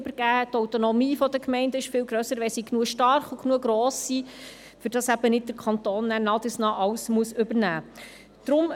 Die Autonomie der Gemeinden ist viel grösser, wenn sie genügend gross und stark sind, sodass nicht der Kanton nach und nach alles übernehmen muss.